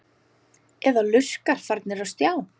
Eða lurkar farnir á stjá?